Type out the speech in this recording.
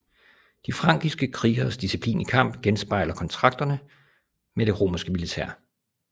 De frankiske krigeres disciplin i kamp genspejler kontakterne med det romerske militær